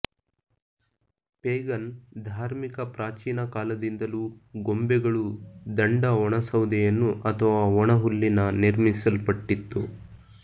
pagan ಧಾರ್ಮಿಕ ಪ್ರಾಚೀನ ಕಾಲದಿಂದಲೂ ಗೊಂಬೆಗಳು ದಂಡ ಒಣ ಸೌದೆಯನ್ನು ಅಥವಾ ಒಣಹುಲ್ಲಿನ ನಿರ್ಮಿಸಲ್ಪಟ್ಟಿತ್ತು